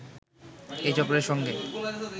এ চক্রের সঙ্গে